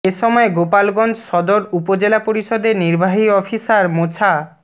এ সময় গোপালগঞ্জ সদর উপজেলা পরিষদের নির্বাহী অফিসার মোছা